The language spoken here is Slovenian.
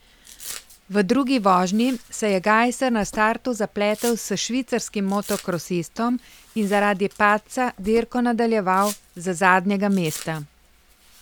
V drugi vožnji se je Gajser na startu zapletel s švicarskim motokrosistom in zaradi padca dirko nadaljeval z zadnjega mesta.